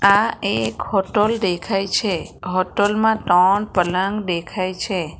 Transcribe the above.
આ એક હોટલ દેખાય છે હોટલ માં ત્રણ પલંગ દેખાય છે.